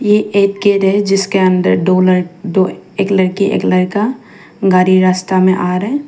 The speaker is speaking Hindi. ये एक गेट है जिसके अंदर दो ल दो एक लड़की एक लड़का गाड़ी रास्ता में आ रहा है।